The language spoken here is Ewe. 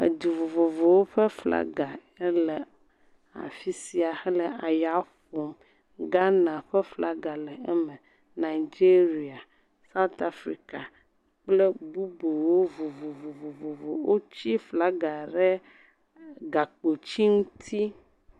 Edu vovovowo ƒe flaga ele afi sia hele eya ƒom. Ghana ƒe flaga le eme, Nigeria, South Africa kple bubuwo vovovo. Wotsi flaga ɖe gakpoti ŋuti.